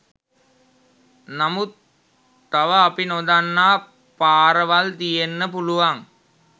නමුත් තව අපි නොදන්නා පාරවල් තියෙන්න පුළුවන්.